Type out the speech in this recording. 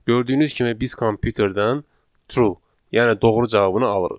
Gördüyünüz kimi biz kompüterdən true, yəni doğru cavabını alırıq.